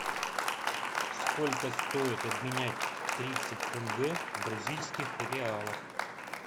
сколько стоит обменять тридцать тенге в бразильских реалах